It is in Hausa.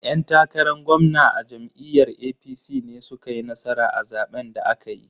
'Yan takaran gwamna a jam'iyyar APC ne su ka yi nasara a zaɓen da aka yi.